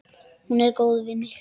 Hún er góð við mig.